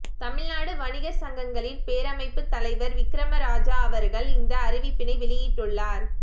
தமிழ்நாடு வணிகர் சங்கங்களின் பேரமைப்பு தலைவர் விக்கிரமராஜா அவர்கள் இந்த அறிவிப்பினை வெளியிட்டுள்ளார்